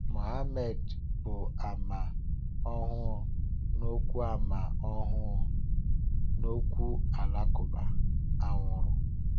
Muhammàd bụ́ àmà ọhụụ n’ọ̀kwú àmà ọhụụ n’ọ̀kwú Alakụba, ànwúrú.